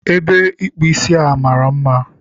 Ebe ịkpụ a mara mma